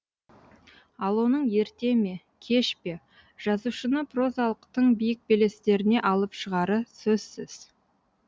ал оның ерте ме кеш пе жазушыны прозалық тың биік белестеріне алып шығары сөзсіз